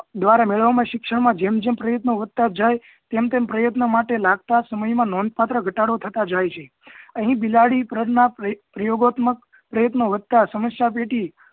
દ્વારા મેળવેલા શિક્ષણ મા જેમ જેમ પ્રયત્નો વધતા જાય તેમ તેમ પ્રયત્નો માટે લાગતા સમય માં નોંધપાત્ર ઘટાડો થતાં જાય છે અહીં બિલાડી પ્રયોગાત્મક પ્ર પ્રયોગોત્મક પ્રયત્નો વધતા સમસ્યા પેટી